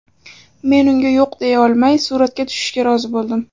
Men unga yo‘q deya olmay, suratga tushishga rozi bo‘ldim.